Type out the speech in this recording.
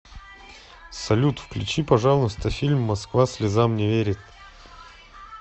салют включи пожалуйста фильм москва слезам не верит